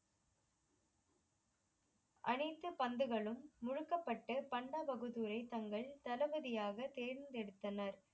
அணைத்து பந்துகளும் முதுக்கப்பட்டு பாண்டா பாகுதூரை தங்கள் தளபதியாக தேர்ந்தெடுத்தனர்